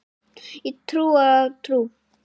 Ég trúi á trú.